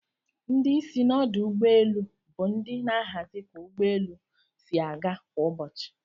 Ndi isi n'odụ ugbọ elụ bu ndi n'ahazi ka ugbọ elụ si aga kwa ubosi.